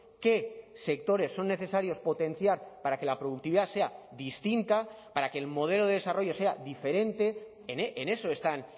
qué sectores son necesarios potenciar para que la productividad sea distinta para que el modelo de desarrollo sea diferente en eso están